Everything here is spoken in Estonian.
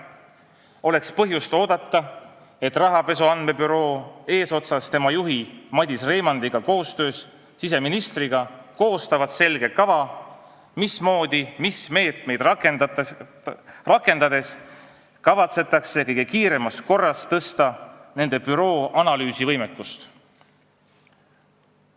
Oleks põhjust oodata, et rahapesu andmebüroo eesotsas tema juhi Madis Reimandiga koostab koostöös siseministriga selge kava, mismoodi ja mis meetmeid rakendades kavatsetakse kõige kiiremas korras tõsta nende büroo analüüsivõimekust.